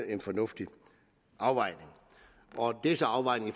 en fornuftig afvejning det er så afvejning af